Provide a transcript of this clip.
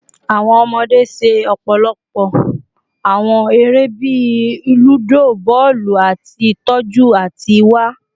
Awọn ọmọde ṣe ọpọlọpọ awọn ere bii ludo, bọọlu, ati tọju ati wa